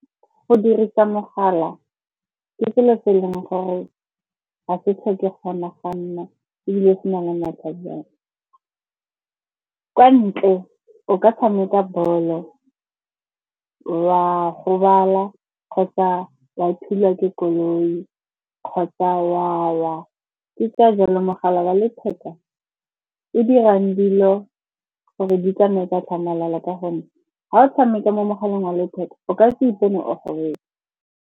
Go dirisa mogala ke selo se e leng gore ga se tlhoke kgona ga nna ebile se na le matlhajana. Kwa ntle o ka tshameka bolo wa gobala kgotsa wa thulwa ke koloi kgotsa wa wa. Ke ka jalo mogala wa letheka o dirang dilo gore di tsamaye ka tlhamalalo ka gonne ga o tshameka mo mogaleng wa letheka, o ka se ipone o gobetse.